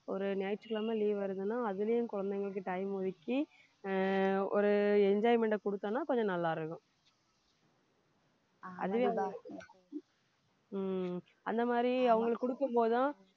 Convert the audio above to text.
ஒரு ஞாயிற்றுக்கிழமை leave வருதுன்னா அதுலயும் குழந்தைகளுக்கு time ஒதுக்கி ஆஹ் ஒரு enjoyment அ கொடுத்தோம்னா கொஞ்சம் நல்லா இருக்கும் ஹம் அந்த மாதிரி அவங்களுக்கு கொடுக்கும் போதுதான்